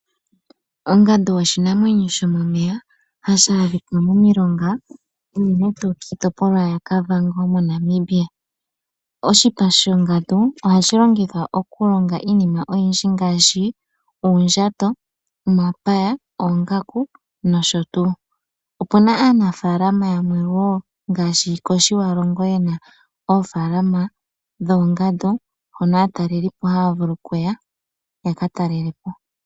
Ongandu oshinamwenyo hashi adhika momilonga unene tuu kiitopolwa yaKavango moNamibia . Oshipa shongandu ohashi longithwa okulonga iinima oyindji yayolokathana ngaashi uundjato, omapaya, noongaku nosho tuu. Opuna aanafalama yamwe yeli koTjiwarongo mbono yena oofalama dhoongandu hono aataleli haya vulu okuya yakatalelepo oofalama ndhika dhoongandu.